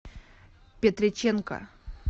петреченко